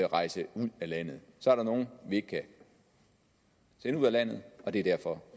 rejse ud af landet så er der nogle vi ikke kan sende ud af landet og det er derfor